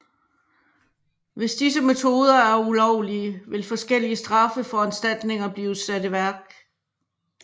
Hvis disse metoder er ulovlige vil forskellige straffeforanstaltninger blive sat i værk